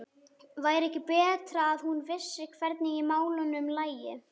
Væri ekki betra að hún vissi hvernig í málunum lægi?